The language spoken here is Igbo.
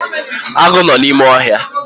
Agụ nọ n’ime ohia